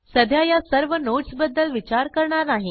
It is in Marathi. सध्या या सर्व नोडस बद्दल विचार करणार नाही